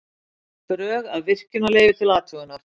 Drög að virkjunarleyfi til athugunar